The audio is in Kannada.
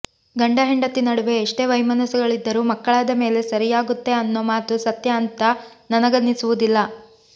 ಗಂಡ ಹೆಂಡತಿ ನಡುವೆ ಎಷ್ಟೇ ವೈಮನಸ್ಯಗಳಿದ್ದರೂ ಮಕ್ಕಳಾದ ಮೇಲೆ ಸರಿಯಾಗುತ್ತೆ ಅನ್ನೋ ಮಾತು ಸತ್ಯ ಅಂತ ನನಗನಿಸುವುದಿಲ್ಲ